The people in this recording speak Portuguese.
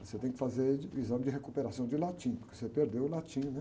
Você tem que fazer de, o exame de recuperação de latim, porque você perdeu o latim, né?